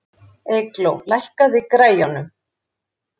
Eygló, lækkaðu í græjunum.